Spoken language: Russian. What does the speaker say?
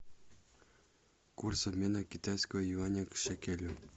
курс обмена китайского юаня к шекелю